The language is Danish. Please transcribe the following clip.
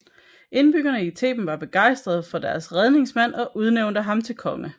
Indbyggerne i Theben var begejstrede for deres redningsmand og udnævnte ham til konge